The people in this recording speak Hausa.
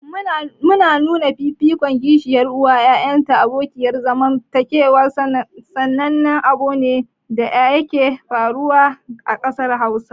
Nuna fifikon kishiyar uwa ga ƴaƴan abokiyar zamanta sanannen abune da yake faruwa a ƙasar Hausa.